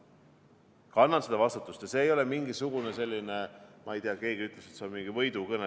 Ma kannan seda vastutust ja see ei ole mingisugune selline, ma ei tea, keegi ütles, et see on mingi võidukõne.